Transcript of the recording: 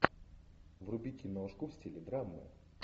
вруби киношку в стиле драмы